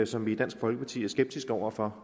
som vi i dansk folkeparti er skeptiske over for